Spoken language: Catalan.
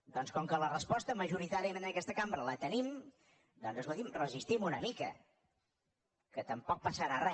doncs com que la resposta majoritàriament en aquesta cambra la tenim doncs escolti’m resistim una mica que tampoc passarà re